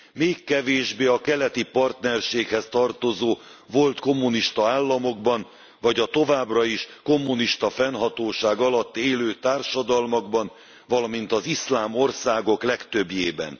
Még kevésbé a Keleti Partnerséghez tartozó volt kommunista államokban, vagy a továbbra is kommunista fennhatóság alatt élő társadalmakban, valamint az iszlám országok legtöbbjében.